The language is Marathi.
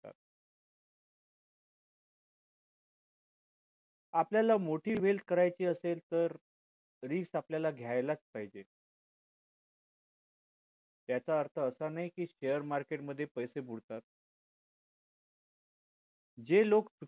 आपल्याला मोठी wealth करायची असेल तर risk आपल्याला घ्यालाच पाहिजे ह्याचा अर्थ असा नाही कि share market मध्ये पैसे बुडतात जे लोक